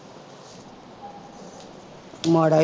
ਮਾੜਾ ਹੀ